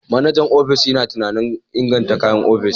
Manajan ofishin yana tunanin inganta kayan ofis.